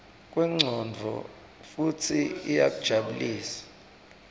kwemcondvo futsi iyajabulisa